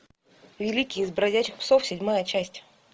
великий из бродячих псов седьмая часть